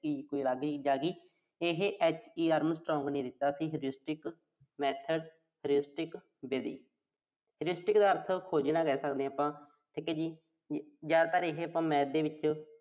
ਇਹੇ HE Armstronh ਨੇ ਦਿੱਤਾ ਸੀ method ਵਿਧੀ ਦਾ ਅਰਥ, ਸੋਧਣਾ ਲੈ ਸਕਦੇ ਆਂ ਆਪਾਂ। ਜ਼ਿਆਦਾਤਰ ਇਹੇ ਸਾਨੂੰ Math ਦੇ ਵਿੱਚ